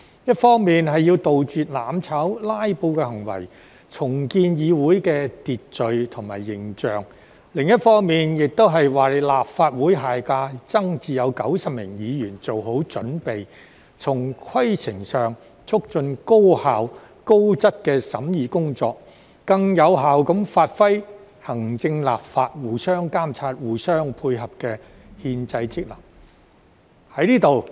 一方面要杜絕"攬炒"、"拉布"的行為，重建議會的秩序及形象；另一方面，亦為下屆立法會增至90名議員做好準備，從規程上促進高效丶高質的審議工作，更有效地發揮行政、立法互相監察、互相配合的憲制職能。